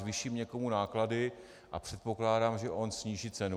Zvýším někomu náklady a předpokládám, že on sníží cenu.